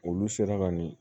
Olu sera ka nin